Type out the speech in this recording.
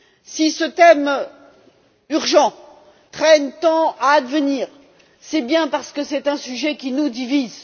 Si ce thème urgent traîne tant à advenir, c'est bien parce que c'est un sujet qui nous divise.